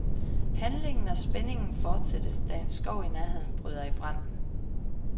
Handlingen og spændingen fortættes, da en skov i nærheden bryder i brand.